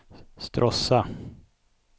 Stråssa